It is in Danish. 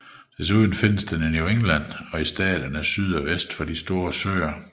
Desuden findes den i New England og i staterne syd og vest for de store søer